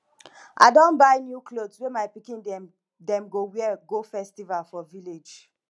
i don buy new clot wey my pikin dem dem go wear go festival for village